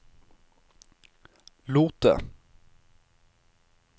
Lote